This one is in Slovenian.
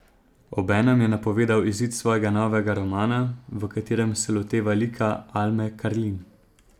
Obenem je napovedal izid svojega novega romana, v katerem se loteva lika Alme Karlin.